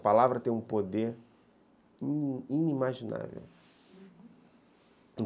A palavra tem um poder inimaginável.